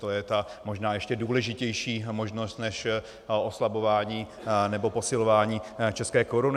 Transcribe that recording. To je ta možná ještě důležitější možnost než oslabování nebo posilování české koruny.